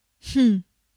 Hm.